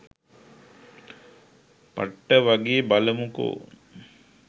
පට්ට වගේ.බලමුකො